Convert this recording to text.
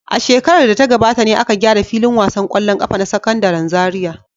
A shekarar da ta gabata ne aka gyara filin wasan ƙwallon ƙafa na Sakandaren Zariya.